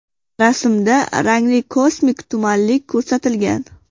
Rasmda rangli kosmik tumanlik ko‘rsatilgan.